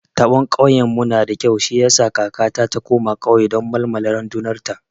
Taɓon kauyen mu nada kyau shi yasa kakata ta koma kauye don malmala randunar ta